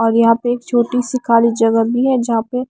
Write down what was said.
और यहाँ पे एक छोटी सी खाली जगह भी है जहाँ पे --